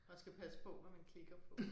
Man skal passe på hvad man klikker på